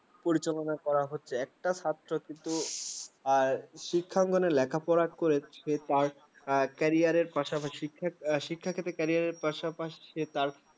পরিচালনা করা হচ্ছে একটা ছাত্র কিন্তু আর শিক্ষা করে লেখাপড়ার করচে তার তার career পাশাপাশি শিক্ষের ক্ষেত্রে career পাশাপাশি সে তার